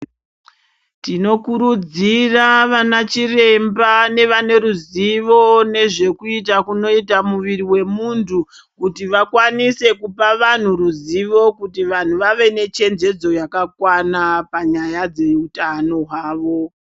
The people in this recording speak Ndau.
Tinokurudzira vanachiramba nevane ruzivo nezvekuita kunoita muiri wemuntu kuti vakwanise kupa vantu ruzivo kuti vantu vave nechenjedzo yakakwana panyaya dzeutano hwavo.